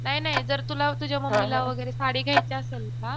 नाही नाही जर तुला तुझ्या मम्मीला वगैरे साडी घ्यायची असेल ना